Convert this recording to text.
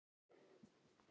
Hann talaði til mín.